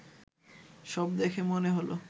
সব দেখে মনে হলো